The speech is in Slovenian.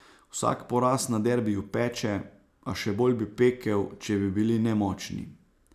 Vsak poraz na derbiju peče, a še bolj bi pekel, če bi bili nemočni.